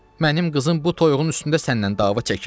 Mənim qızım bu toyuğun üstündə səndən dava çəkir?